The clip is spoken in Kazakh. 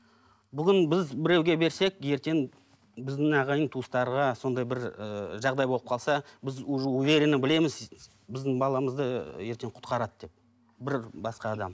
бүгін біз біреуге берсек ертең біздің ағайын туыстарға сондай бір ыыы жағдай болып қалса біз уже уверенно білеміз біздің баламызды ертең құтқарады деп бір басқа адам